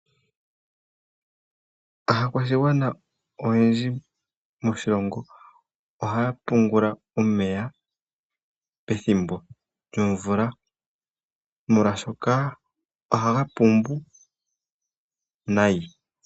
Aakwashigwana oyendji moshilongo oha ya pungula omeya pethimbo lyomvula molwashoka ohaga kala ga pumba nayi.